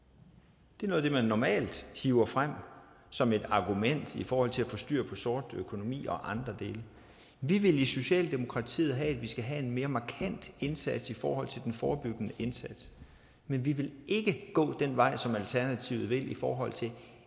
det er noget af det man normalt hiver frem som et argument i forhold til at få styr på sort økonomi og andre dele vi vil i socialdemokratiet have at vi skal have en mere markant indsats i forhold til den forebyggende indsats men vi vil ikke gå den vej som alternativet vil i forhold til